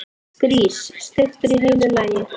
Grís, steiktur í heilu lagi!